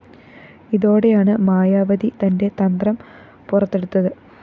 ഇതോടെയാണ് മായാവതി തന്റെ തന്ത്രം പുറത്തെടുത്തത്